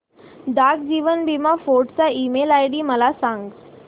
डाक जीवन बीमा फोर्ट चा ईमेल आयडी मला सांग